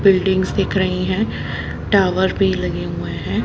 Buildings दिख रहे हैं टॉवर भी लगे हुए हैं।